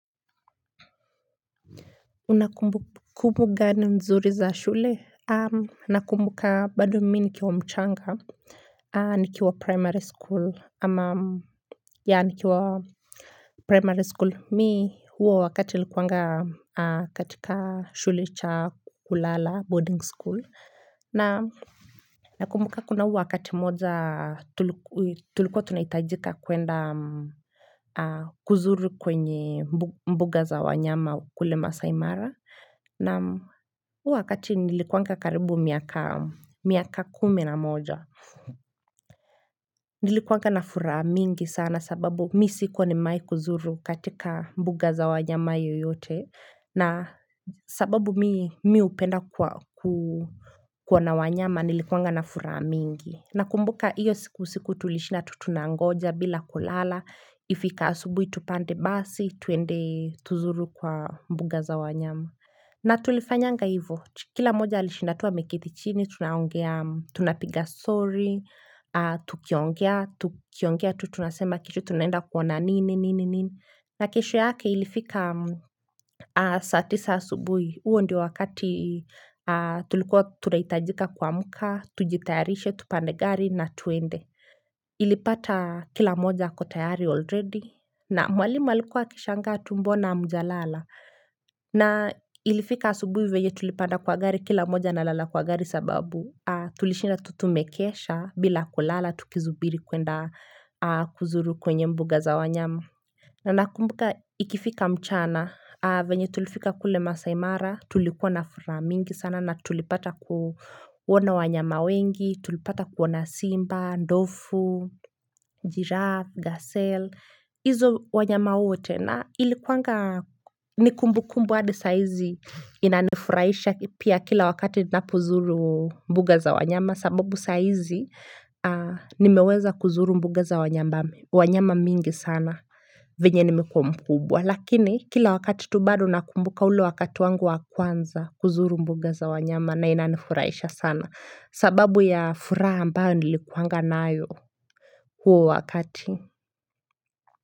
Una kumbukumbu gani mzuri za shule? Nakumbuka bado mimi nikiwa mchanga, nikiwa primary school. Ama ya nikiwa primary school. Mi huo wakati nilikuanga katika shule cha kulala boarding school. Na nakumbuka kuna huu wakati moja tulikuwa tunahitajika kuenda kuzuru kwenye mbuga za wanyama kule Maasai Mara. Naam, huu wakati nilikuwanga karibu miaka, miaka kumi na moja. Nilikuwanga na furaha mingi sana sababu mi sikuwa nimewai kuzuru katika mbuga za wanyama yoyote. Na sababu mi mi hupenda kwa ku kuona wanyama nilikuanga na furaha mingi. Nakumbuka iyo siku, usiku tulishinda tu tunangoja bila kulala ifike asubuhi tupande basi tuende tuzuru kwa mbuga za wanyama. Na tulifanyanga hivo, kila moja alishinda tu ameketi chini, tunaongea, tunapiga story, tukiongea, tukiongea tu tunasema kesho tunaenda kuona nini, nini, nini. Na kesho yake ilifika saa tisa asubuhi, huo ndio wakati tulikuwa tunahitajika kuamka, tujitayarishe, tupande gari na twende. Ilipata kila moja ako tayari already, na mwalimu alikuwa akishangaa tu mbona hamjalala. Na ilifika asubuhi venye tulipanda kwa gari kila moja analala kwa gari sababu tulishinda tu tumekesha bila kulala tukisubiri kwenda kuzuru kwenye mbuga za wanyama. Na nakumbuka ikifika mchana, venye tulifika kule Maasai Mara, tulikuwa na furaha mingi sana na tulipata kuona wanyama wengi, tulipata kuona Simba, Ndovu Giraffe, Gazelle, hizo wanyama wote. Na ilikuwanga ni kumbukumbu hadi sahizi inanifurahisha pia kila wakati ninapozuru mbuga za wanyama sababu sahizi nimeweza kuzuru mbuga za wanyama mingi sana venye nimekuwa mkubwa. Lakini kila wakati tu bado nakumbuka ule wakati wangu wa kwanza kuzuru mbuga za wanyama na inanifurahisha sana sababu ya furaha ambayo nilikuwanga nayo huo wakati.